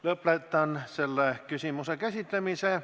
Lõpetan selle küsimuse käsitlemise.